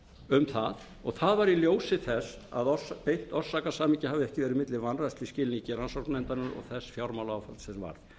um það og það var í ljósi þess að beint orsakasamhengi hafði ekki verið milli vanrækslu í skilningi rannsóknarnefndarinnar og þess fjármálaráðherra sem var